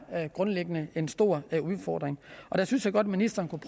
grundlæggende en stor udfordring der synes jeg godt ministeren kunne